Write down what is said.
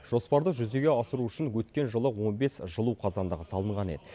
жоспарды жүзеге асыру үшін өткен жылы он бес жылу қазандығы салынған еді